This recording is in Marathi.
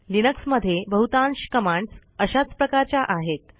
लिनक्स मध्ये बहुतांश कमांडस् अशाच प्रकारच्या आहेत